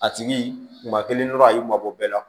A tigi maa kelen dɔrɔn a y'u mabɔ bɛɛ la